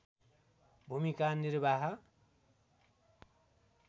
भूमिका निर्वाह